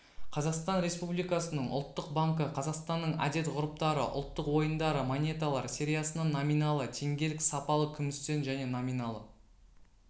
қазақстан республикасының ұлттық банкі қазақстанның әдет-ғұрыптары ұлттық ойындары монеталар сериясынан номиналы теңгелік сапалы күмістен және номиналы